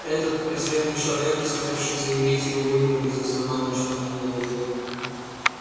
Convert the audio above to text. этот презренный человек посмевший заявить и увы не без основания что она не леди